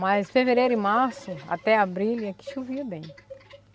Mas fevereiro e março, até abril, aqui chovia bem.